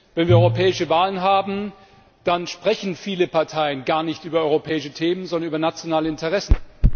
Wenn wir europäische Wahlen haben, dann sprechen viele Parteien gar nicht über europäische Themen, sondern über nationale Interessen.